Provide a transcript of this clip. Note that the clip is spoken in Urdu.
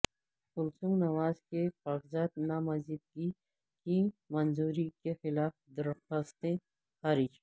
کلثوم نواز کے کاغذات نامزدگی کی منظوری کے خلاف درخواستیں خارج